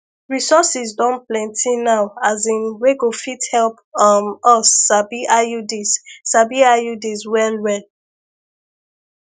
resources don plenty now asin wey go fit help um us sabi iuds sabi iuds well well